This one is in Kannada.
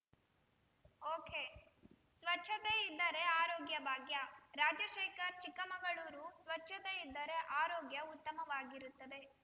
ಒಕೆಸ್ವಚ್ಛತೆ ಇದ್ದರೆ ಆರೋಗ್ಯ ಭಾಗ್ಯ ರಾಜಶೇಖರ್‌ ಚಿಕ್ಕಮಗಳೂರು ಸ್ವಚ್ಛತೆ ಇದ್ದರೆ ಆರೋಗ್ಯ ಉತ್ತಮವಾಗಿರುತ್ತದೆ